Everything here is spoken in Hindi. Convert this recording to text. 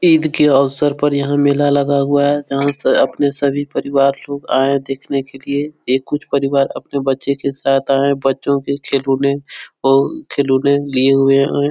ईद के अवसर पर यहाँ मेला लगा हुआ है। यहाँ से अपने सभी परिवार लोग आए देखने के लिए एक कुछ परिवार अपने बच्चे के साथ आए है बच्चों के खिलौने और खिलौने लिए हुए और--